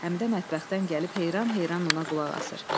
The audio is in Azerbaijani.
Həmidə mətbəxdən gəlib heyran-heyran ona qulaq asır.